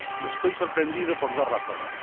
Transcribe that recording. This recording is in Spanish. Estoy sorprendido por dos razones.